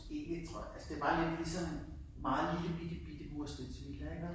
Ikke tror jeg altså det var lidt ligesom meget lille bitte bitte mustensvilla ikke også